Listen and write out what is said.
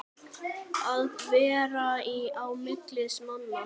Að vera á milli manna!